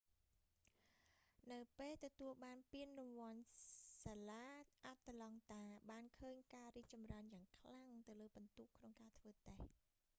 នៅពេលទទួលបានពានរង្វាន់ សាលាអាត្លង់តាបានឃើញការរីកចម្រើនយ៉ាងខ្លាំងទៅលើពិន្ទុក្នុងការធ្វើតេស្ដ